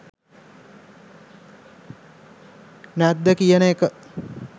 නැද්ද කියන එක